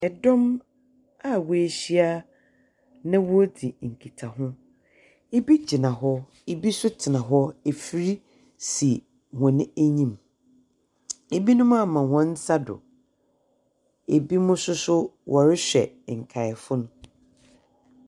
Dɔm a woehyia na woridi nkitaho. Bi gyina hɔ, bi nso tsena hɔ. Efir si hɔn enyim. Binom ama hɔn nsa do. Binom nso so wɔrehwɛ nkaefo no.